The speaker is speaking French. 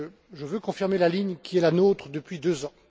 Je veux donc confirmer la ligne qui est la nôtre depuis deux ans.